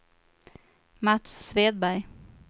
Mats Svedberg